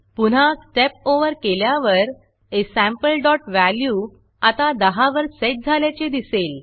पुन्हा Step Overस्टेप over केल्यावर asampleवॅल्यू आता 10 वर सेट झाल्याचे दिसेल